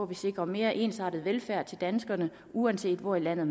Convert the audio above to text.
vi sikrer mere ensartet velfærd til danskerne uanset hvor i landet